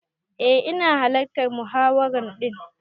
Eh ina hallartan muhawara din.